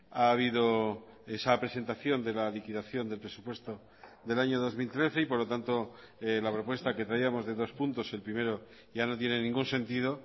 ha habido esa presentación de la liquidación del presupuesto del año dos mil trece y por lo tanto la propuesta que traíamos de dos puntos el primero ya no tiene ningún sentido